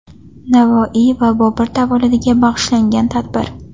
Navoiy va Bobur tavalludiga bag‘ishlangan tadbir.